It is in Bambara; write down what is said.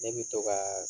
Ne bɛ to ka